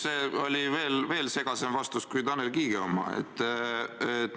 See oli veel segasem vastus kui Tanel Kiige oma.